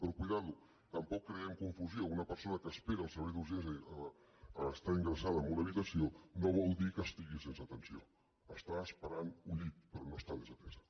però compte tampoc creem confusió una persona que espera al servei d’urgències a estar ingressada en una habitació no vol dir que estigui sense atenció està esperant un llit però no està desatesa